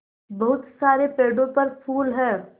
बहुत सारे पेड़ों पर फूल है